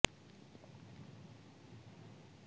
ਫਿਰ ਸੁਪਨੇ ਅਤੇ ਸਟਰਾਂਗ ਨੇ ਪਿੰਜਰੇ ਤੋਂ ਬਚਣ ਲਈ ਮਜ਼ਾਕ ਕੀਤਾ